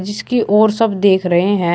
इसके ओर सब देख रहे हैं।